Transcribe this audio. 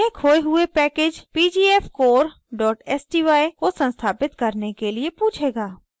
यह खोये हुए package pgfcore sty को संस्थापित करने के लिए पूछेगा